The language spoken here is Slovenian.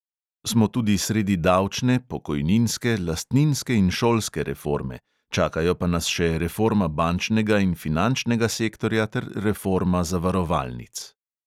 Smo tudi sredi davčne, pokojninske, lastninske in šolske reforme, čakajo pa nas še reforma bančnega in finančnega sektorja ter reforma zavarovalnic.